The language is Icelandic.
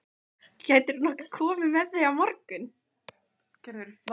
Gætirðu nokkuð komið með þau á morgun?